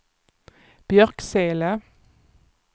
Björksele